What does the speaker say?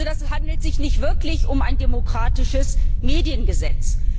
Also handelt es sich nicht wirklich um ein demokratisches Mediengesetz.